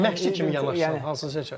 Məşqçi kimi yanaşsan, hansını seçərsən?